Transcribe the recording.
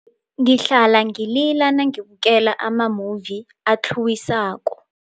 Ngihlala ngilila nangibukela amamuvi atlhuwisako.